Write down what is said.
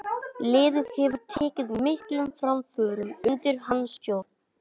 Liðið hefur tekið miklum framförum undir hans stjórn.